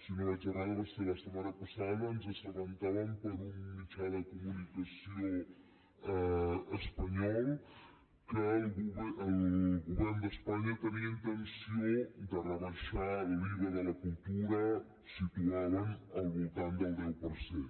si no vaig errada va ser la setmana passada ens assabentàvem per un mitjà de comunicació espanyol que el govern d’espanya tenia intenció de rebaixar l’iva de la cultura el situaven al voltant del deu per cent